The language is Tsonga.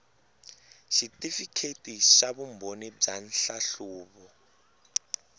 xitifikheti xa vumbhoni bya nhlahluvo